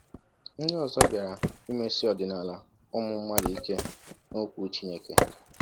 Ndị ọzọ bịara imesi ọdịnala ụmụ mmadụ ike n’Okwu Chineke.